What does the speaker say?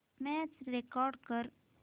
match record कर